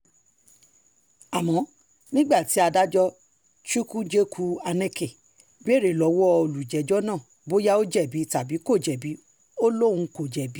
àmọ́ nígbà tí adájọ́ chukwujekwu aneke béèrè lọ́wọ́ olùjẹ́jọ́ náà bóyá ó jẹ̀bi tàbí kò jẹ̀bi ó lóun kò jẹ̀bi